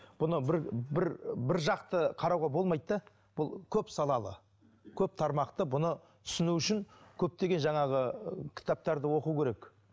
бұны бір бір біржақты қарауға болмайды да бұл көп салалы көп тармақты бұны түсіну үшін көптеген жаңағы ы кітаптарды оқу керек